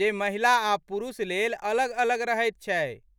जे महिला आ पुरुष लेल अलग अलग रहैत छै।